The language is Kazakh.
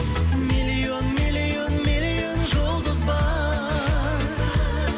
миллион миллион миллион жұлдыз бар